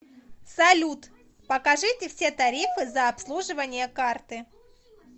салют покажите все тарифы за обслуживание карты